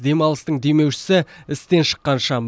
демалыстың демеушісі істен шыққан шам